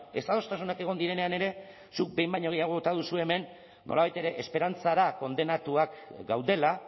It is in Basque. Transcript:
ezadostasunak egon direnean ere zuk behin baino gehiago bota duzu hemen nolabait ere esperantzara kondenatuak gaudela